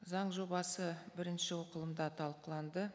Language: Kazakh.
заң жобасы бірінші оқылымда талқыланды